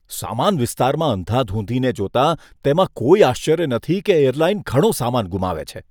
સામાન વિસ્તારમાં અંધાધૂંધીને જોતાં, તેમાં કોઈ આશ્ચર્ય નથી કે એરલાઇન ઘણો સામાન ગુમાવે છે.